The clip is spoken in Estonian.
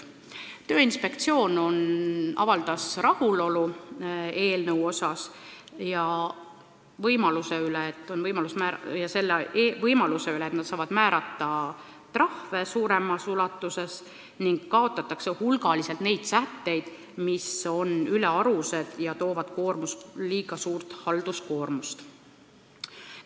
Tööinspektsioon avaldas rahulolu eelnõu suhtes ja selle võimaluse üle, et nad saavad määrata trahve suuremas ulatuses, ning selle üle, et kaotatakse hulgaliselt neid sätteid, mis on ülearused ja toovad kaasa liiga suure halduskoormuse.